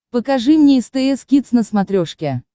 покажи мне стс кидс на смотрешке